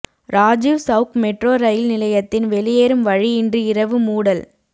Rajiv Chowk metro rail நிலையத்தின் வெளியேறும் வழி இன்று இரவு மூடல்